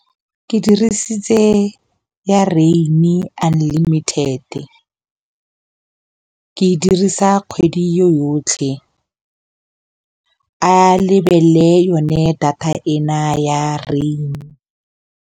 Ke dirisitse ya rain-e nlimited e ke e dirisa kgwedi yotlhe a lebelele yone data ena ya rain.